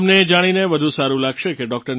તમને એ જાણીને વધુ સારું લાગશે કે ડો